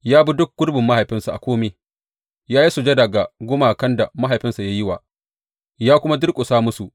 Ya bi duk gurbin mahaifinsa a kome, ya yi sujada ga gumakan da mahaifinsa ya yi wa, ya kuma durƙusa musu.